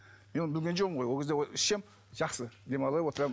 мен оны білген жоқпын ғой ол кезде ішсем жақсы демалып отырамын